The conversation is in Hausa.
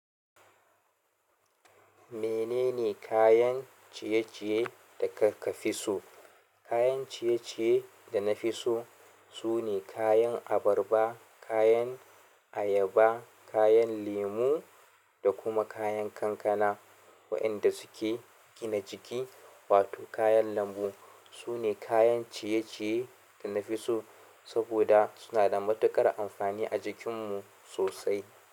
Menene kayan ciye-ciye da ka fi so? Kayan ciye-ciye da na fi so sune kayan abarba, kayan ayaba, kayan lemu da kuma kayan kankana. Waɗanda suke gina jiki wato kayan lambu sune kayan ciye-ciye da na fi so saboda suna da matuƙar amfani a jikinmu sosai.